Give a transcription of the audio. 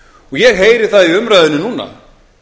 ég heyri það í umræðunni núna